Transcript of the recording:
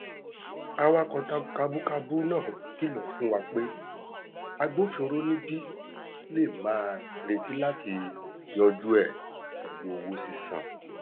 awakọ kabúkabú náà kìlọ fún wa pé agbofinró níbí lè máa retí láti yanjú ẹ pẹlú owó sísan